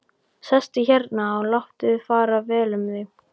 Sestu hérna og láttu fara vel um þig!